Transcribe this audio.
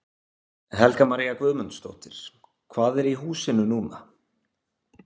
Helga María Guðmundsdóttir: Hvað er í húsinu núna?